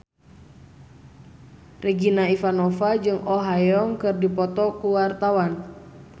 Regina Ivanova jeung Oh Ha Young keur dipoto ku wartawan